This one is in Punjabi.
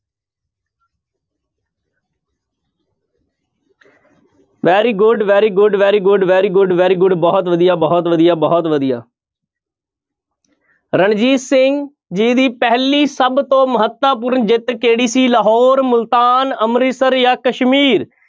Very good, very good, very good, very good, very good ਬਹੁਤ ਵਧੀਆ, ਬਹੁਤ ਵਧੀਆ, ਬਹੁਤ ਵਧੀਆ ਰਣਜੀਤ ਸਿੰਘ ਜੀ ਦੀ ਪਹਿਲੀ ਸਭ ਤੋਂ ਮਹੱਤਵਪੂਰਨ ਜਿੱਤ ਕਿਹੜੀ ਸੀ ਲਾਹੌਰ, ਮੁਲਤਾਨ, ਅੰਮ੍ਰਿਤਸਰ ਜਾਂ ਕਸ਼ਮੀਰ?